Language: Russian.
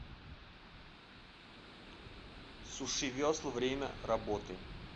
сушивесла время работы